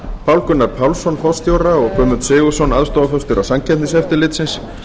pál gunnar pálsson forstjóra og guðmund sigurðsson aðstoðarforstjóra samkeppniseftirlitsins